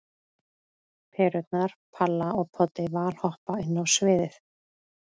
Perurnar Palla og Poddi valhoppa inn á sviðið.